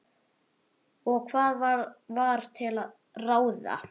Og hvað var til ráða?